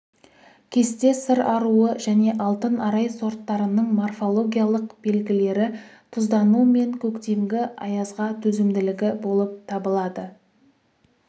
кесте сыр аруы және алтын арай сорттарының морфологиялық белгілері тұздану мен көктемгі аязға төзімділігі болып табылады